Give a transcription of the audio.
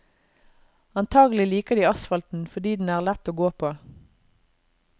Antagelig liker de asfalten fordi den er lett å gå på.